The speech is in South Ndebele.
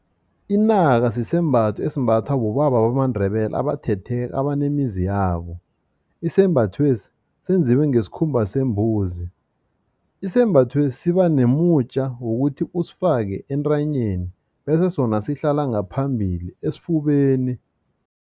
Inaka sisembatho esimbathwa bobaba bamaNdebele abanemizi yabo isembathwesi senziwe ngesikhumba sembuzi. Isembathwesi sibanomutja wokuthi usifake entanyeni bese sona sihlala ngaphambili esifubeni.